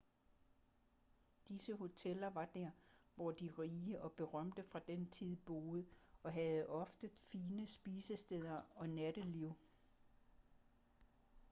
disse hoteller var der hvor de rige og berømte fra den tid boede og havde ofte fine spisesteder og natteliv